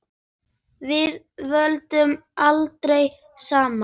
Við töluðum dálítið saman.